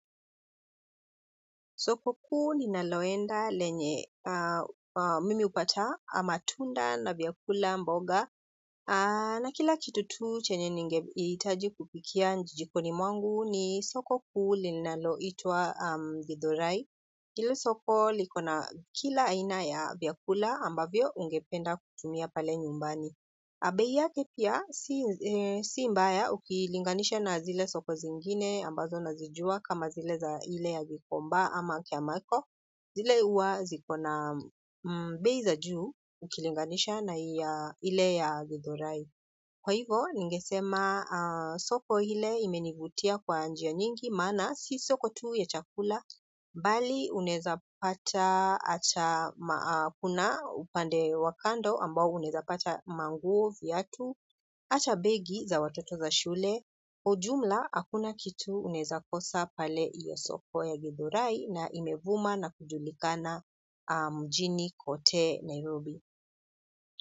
Soko kuu ninaloenda lenye mimi hupata matunda na vyakula mboga na kila kitu tu chenye ningehitaji kupikia jikoni mwangu ni soko kuu ninaloitwa githurai. Hili soko liko na kila aina ya vyakula ambavyo ungependa kutumia pale nyumbani. Bei yake pia si mbaya ukilinganisha na zile soko zingine ambazo na zijua kama zile za ile ya gikomba ama kiamako. Zile huwa ziko na bei za juu ukilinganisha na ile ya githurai. Kwa hivo, ningesema soko hile imenivutia kwa njia nyingi, maana si soko tu ya chakula, bali unaeza pata acha, kuna upande wa kando ambao unaeza pata manguo viatu, ata begi za watoto za shule, kwa ujumla akuna kitu unaeza kosa pale iyo soko ya githurai na imevuma na kujulikana mjini kote Nairobi.